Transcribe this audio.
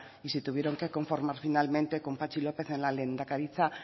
y se tuvieron que conformar finalmente con patxi lópez en la lehendakaritza